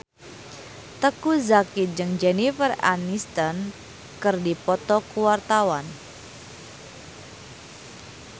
Teuku Zacky jeung Jennifer Aniston keur dipoto ku wartawan